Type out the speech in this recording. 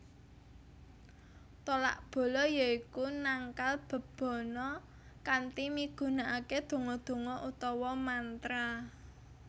Tolak bala yoiku nangkal bebana kanthi migunakake donga donga utawa mantra